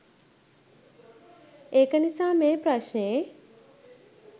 ඒක නිසා මේ ප්‍රශ්නේ